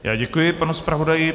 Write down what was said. Já děkuji panu zpravodaji.